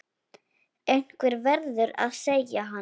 Einhver verður að segja hann.